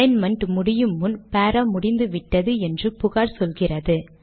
alignment முடியும் முன் பாரா முடிந்துவிட்டது என்று புகார் சொல்லுகிறது